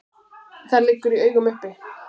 Það liggur í augum uppi.